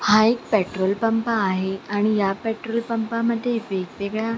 हा एक petrol pump आहे आणि या पॅट्रोल पंपा मध्ये वेगवेगळ्या --